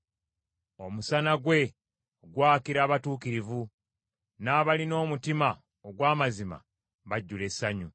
Omusana gwe gwakira abatuukirivu, n’abalina omutima ogw’amazima bajjula essanyu.